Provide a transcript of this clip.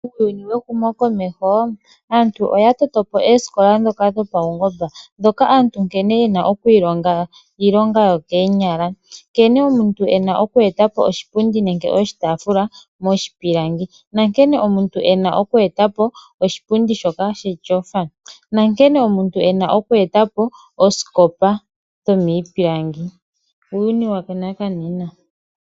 Muuyuni wehumo komeho, aantu oya totopo oosikola ndhoka dhopaungomba, ndhoka aantu hayiilongo iilonga yokoonyala, nkene omuntu ena okweetapo oshipundi nenge oshitaafula shalongwa miipilangi, nenge nkene omuntu ena okweetapo oshipundi shetyofa, nooskopa dhalongwa miipilangi, uuyuni wanakanena.